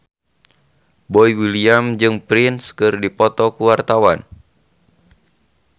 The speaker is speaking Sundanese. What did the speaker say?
Boy William jeung Prince keur dipoto ku wartawan